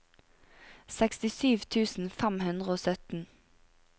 sekstisju tusen fem hundre og sytten